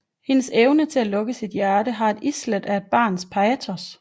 Hendes evne til at lukke sit hjerte har et islæt af barnlig patos